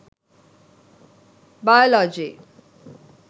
biology